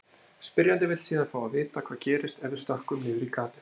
Spyrjandi vill síðan fá að vita hvað gerist ef við stökkvum niður í gatið.